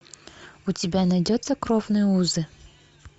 у тебя найдется кровные узы